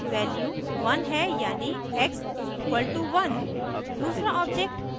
फिर हमारे पास value 1 है यानि x = 1